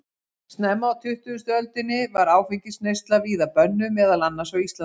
Snemma á tuttugustu öldinni var áfengisneysla víða bönnuð, meðal annars á Íslandi.